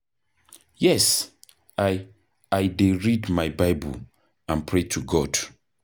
Yes, i i dey read my Bible and pray to God.